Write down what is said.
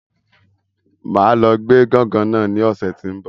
Máa lọ gbé gángan náà ní ọ̀sẹ̀ ti n bọ